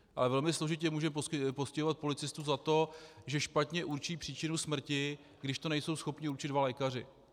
Ale velmi složitě můžeme postihovat policistu za to, že špatně určí příčinu smrti, když to nejsou schopni určit dva lékaři.